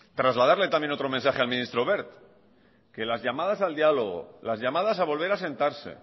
trasladarle también otro mensaje al ministro wert que las llamadas al diálogo las llamadas a volver a sentarse